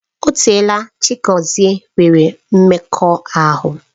O teela Chiagozie nwere mmekọahụ